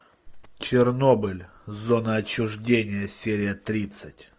чернобыль зона отчуждения серия тридцать